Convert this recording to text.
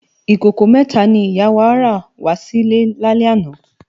Ikókó mètá ni ìyá wá rá wà silè lálè àná